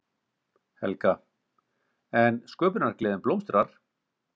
Helga: En sköpunargleðin blómstrar?